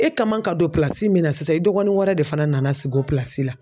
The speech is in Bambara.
E ka man ka don min na sisan i dɔgɔnin wɛrɛ de fana nana sigi o la